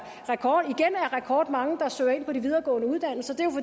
rekordmange der søger ind på de videregående uddannelser